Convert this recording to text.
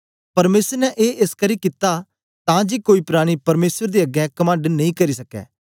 परमेसर ने ए एसकरी कित्ता तां जे कोई प्राणी परमेसर दे अगें कमंड नेई करी सक्कै